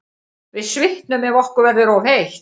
Við svitnum ef okkur verður of heitt.